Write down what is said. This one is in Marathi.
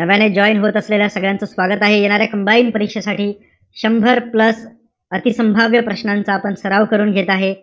नव्याने join होत असलेल्या सगळ्यांचं स्वागत आहे. येणाऱ्या combined परीक्षेसाठी शंभर plus अतिसंभाव्य प्रश्नांचा आपण सर्व करून घेत आहे.